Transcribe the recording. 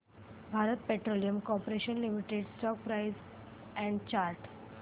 Bharat Petroleum Corporation Limited stock price and chart